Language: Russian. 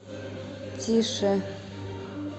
тише